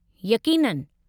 यक़ीननि!